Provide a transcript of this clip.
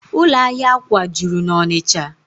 Ụlọ ahịa akwà juru n'Ọnịcha